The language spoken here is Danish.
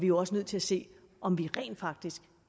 jo også nødt til at se om vi rent faktisk